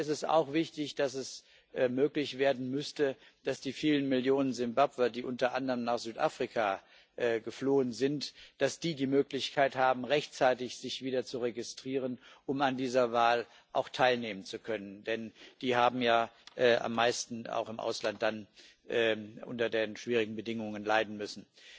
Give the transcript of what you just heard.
Und mir ist es auch wichtig, dass es möglich werden müsste, dass die vielen Millionen Simbabwer, die unter anderem nach Südafrika geflohen sind, die Möglichkeit haben, sich wieder rechtzeitig zu registrieren, um an dieser Wahl auch teilnehmen zu können, denn die haben ja am meisten, auch im Ausland dann, unter den schwierigen Bedingungen leiden müssen.